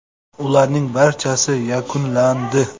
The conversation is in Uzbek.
Ularning barchasi yakunlandi.